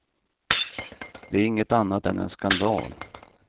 Det är inget annat än en skandal.